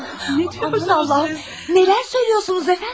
Nə deyirsiniz Allahım, nələr söyləyirsiniz əfəndim?